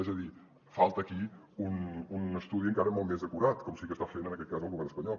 és a dir falta aquí un estudi encara molt més acurat com sí que està fent en aquest cas el govern espanyol